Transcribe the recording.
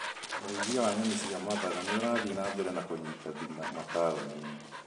ũrĩithia wa nyoni cia mathaga nĩũrathiĩ na mbere na kũnyita thing'a mataũni-inĩ